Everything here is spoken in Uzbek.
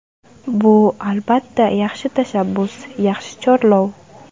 Bu, albatta, yaxshi tashabbus, yaxshi chorlov.